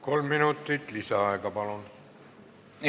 Kolm minutit lisaaega, palun!